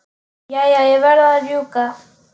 Jæja, ég verð að rjúka.